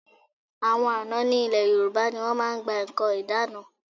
Àwọn àna ní ilẹ̀ Yorùbá ni wọ́n máa ń gba nǹkan ìdána.